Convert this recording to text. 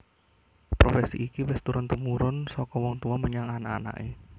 Profesi iki wis turun tumurun saka wong tuwa menyang anak anaké